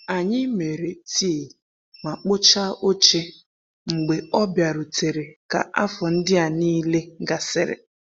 Anyị mere tii ma kpochaa oche mgbe ọ bịarutere ka afọ ndịa niile gasịrị.